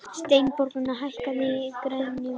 Steinborg, hækkaðu í græjunum.